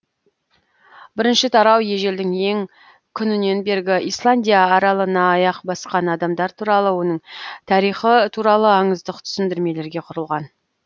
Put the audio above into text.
бірінші тарау ежелдің ең күнінен бергі исландия аралына аяқ басқан адамдар туралы оның тарихы туралы аңыздық түсіндірмелерге құрылған